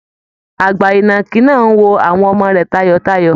Àgbà ìnàkì náà ń wo àwọn ọmọ rẹ̀ tayọ̀tayọ̀